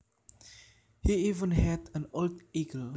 He even had an old eagle